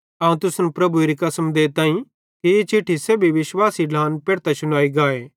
अवं तुसन प्रभुएरी कसम देताईं कि ई चिट्ठी सेब्भी विश्वासी ढ्लान पेढ़तां शुनाई गाए